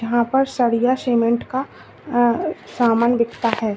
यहां पर सरिया सीमेंट का समान बिकता है।